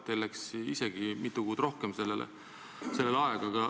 Teil läks isegi mitu kuud rohkem sellega aega.